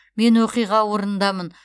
мен оқиға орнындамын